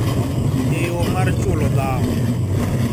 Eyo mar chulo dhawo